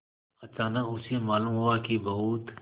अचानक उसे मालूम हुआ कि बहुत